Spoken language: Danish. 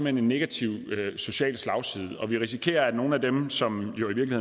en negativ social slagside vi risikerer at nogle af dem som jo i